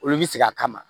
Olu bi sigi a kama